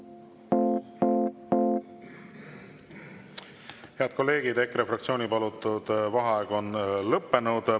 Head kolleegid, EKRE fraktsiooni palutud vaheaeg on lõppenud.